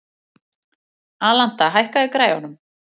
Alanta, hækkaðu í græjunum.